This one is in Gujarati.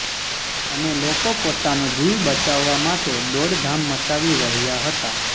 અને લોકો પોતાનો જીવ બચાવવા માટે દોડધામ મચાવી રહ્યા હતા